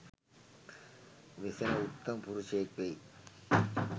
වෙසෙන උත්තම පුරුෂයෙක් වෙයි.